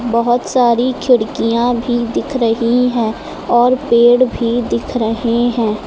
बहुत सारी खिड़कियां भी दिख रही हैं और पेड़ भी दिख रहे हैं।